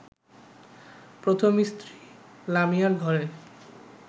প্রথম স্ত্রী লামিয়ার ঘরে